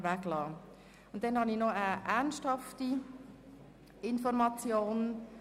Schliesslich zu einer ernsthaften Information.